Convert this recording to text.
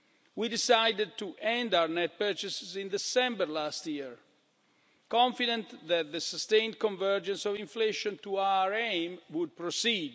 We decided to end our net purchases in December last year, confident that the sustained convergence of inflation to our aim would proceed.